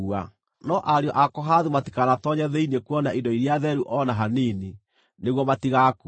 No ariũ a Kohathu matikanatoonye thĩinĩ kuona indo iria theru o na hanini, nĩguo matigaakue.”